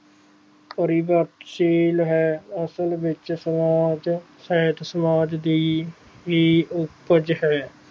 ਤਾਰੀਬਕਸ਼ੀਲ ਹੈ ਅਸਲ ਵਿਚ ਸਮਾਜ ਸਾਹਿਤ ਸਮਾਜ ਦੀ ਹੀ ਉਪਜ ਹੈ